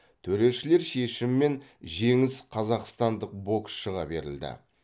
төрешілер шешімімен жеңіс қазақстандық боксшыға берілді